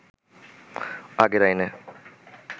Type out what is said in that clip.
আগের আইনে